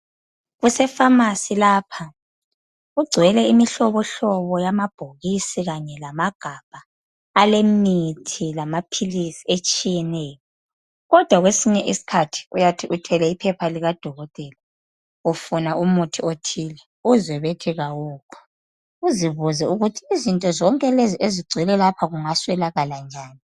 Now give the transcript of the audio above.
Kusefamasi lapha. Kugcwele imihlobohlobo yamabhokisi kanye lamagabha alemithi lamaphilisi atshiyeneyo. Kodwa kwesinye isikhathi uyathi uthwele iphepha likadokotela ufuna umuthi othile uzwe bethi kawukho. Uzibuze ukuthi izinto zonke lezi ezigcwele lapha kungaswelakala njani.